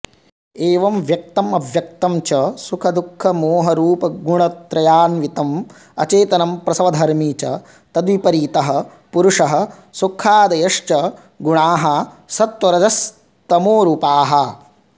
एवं व्यक्तमव्यक्तं च सुखदुःखमोहरूपगुणत्रयान्वितमचेतनं प्रसवधर्मि च तद्विपरीतः पुरुषः सुखादयश्च गुणाः सत्त्वरजस्तमोरूपाः